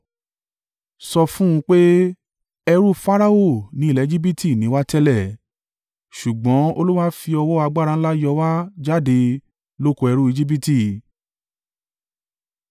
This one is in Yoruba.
Sọ fún un pé: “Ẹrú Farao ní ilẹ̀ Ejibiti ni wá tẹ́lẹ̀, ṣùgbọ́n Olúwa fi ọwọ́ agbára ńlá yọ wá jáde lóko ẹrú Ejibiti.